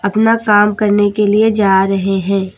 अपना काम करने के लिए जा रहे हैं।